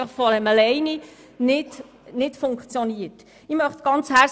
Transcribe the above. Von selber funktioniert das offenbar nicht.